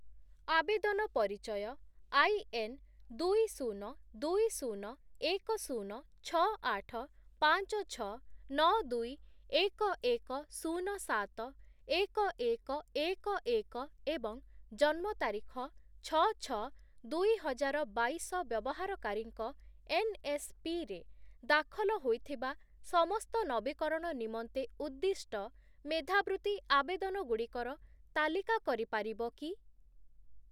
ଆବେଦନ ପରିଚୟ I, N, ଦୁଇ, ଶୂନ, ଦୁଇ, ଶୂନ, ଏକ, ଶୂନ, ଛଅ, ଆଠ, ପାଞ୍ଚ, ଛଅ, ନଅ, ଦୁଇ, ଏକ, ଏକ, ଶୂନ, ସାତ, ଏକ, ଏକ, ଏକ, ଏକ ଏବଂ ଜନ୍ମ ତାରିଖ ଛଅ ଛଅ ଦୁଇହଜାରବାଇଶ ବ୍ୟବହାରକାରୀଙ୍କ ଏନ୍‌ଏସ୍‌ପି ରେ ଦାଖଲ ହୋଇଥିବା ସମସ୍ତ ନବୀକରଣ ନିମନ୍ତେ ଉଦ୍ଦିଷ୍ଟ ମେଧାବୃତ୍ତି ଆବେଦନଗୁଡ଼ିକର ତାଲିକା କରିପାରିବ କି?